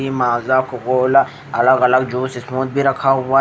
ई Maaza Coca Cola अलग अलग juice इसमें भी रखा हुआ है।